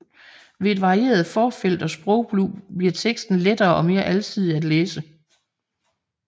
Ved et varieret forfelt og sprogbrug bliver teksten lettere og mere alsidig at læse